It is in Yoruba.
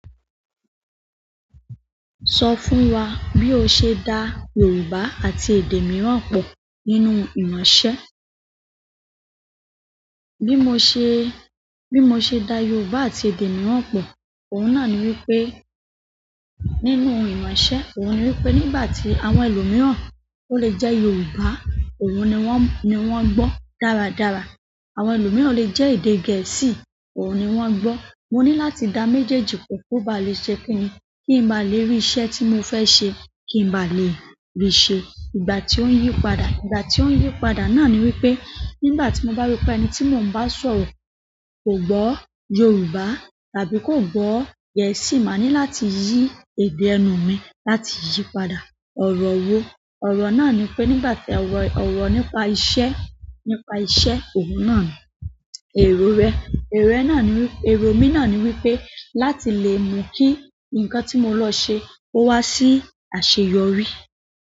Sọ fún wa bí o ṣe da Yorùbá àti èdè mìíràn pọ nínú iranṣẹ́. Bí mo ṣe da Yorùbá àti èdè mìíràn pọ, òun náà ni wípé nínú iranṣẹ́, òun ni wípé nígbà tí àwọn ẹlòmíràn ó lè jẹ́ Yorùbá, òun ni wón gbọ́ dáradára. Àwọn ẹlòmíràn lè jẹ́ èdè Gẹ̀ẹ́sì, òun ni wón ń gbọ́. Mo ni láti da mejeji po ko ba le se kinni, ki n ba le ri iṣẹ́ ti mo fe se ki n ba le ri se. Ìgbà tí ó ń yí padà, ìgbà tí ó ń yí padà náà ni wípé nígbà tí mo bá ropé ẹni tí mò ń bá sọ̀rọ̀ kò gbọ́ Yorùbá tàbí kò gbọ́ Gẹ̀ẹ́sì, màá ní láti yí èdè ẹnu mi láti yí padà. Ọ̀rọ̀ wo? Ọ̀rọ̀ náà ni pé, ọ̀rọ̀ nípa iṣẹ́, nípa iṣẹ́, òun náà ni. Èrò rẹ? Èrò mi náà ni wípé láti lè mu kí ǹkan tí mo lọ ṣe ó wá sí àṣeyọrí.